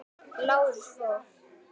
Lárus fór.